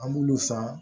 An b'olu san